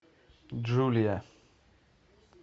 джулия